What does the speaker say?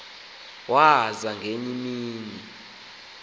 waza ngenye imini